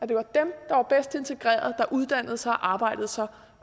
det var dem der var bedst integreret der uddannede sig arbejdede